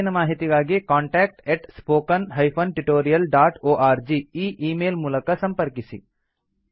ಹೆಚ್ಚಿನ ಮಾಹಿತಿಗಾಗಿ contact spoken tutorialorg ಈ ಈ ಮೇಲ್ ಮೂಲಕ ಸಂಪರ್ಕಿಸಿ